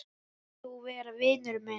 Vilt þú vera vinur minn?